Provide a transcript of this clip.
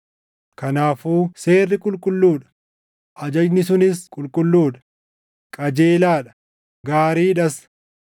Kanaafuu seerri qulqulluu dha; ajajni sunis qulqulluu dha; qajeelaa dha; gaarii dhas.